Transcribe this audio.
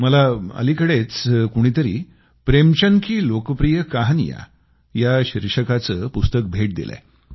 मला अलिकडेच कुणीतरी प्रेमचंद की लोकप्रिय कहानियाँ या शीर्षकाचं पुस्तक भेट दिलंय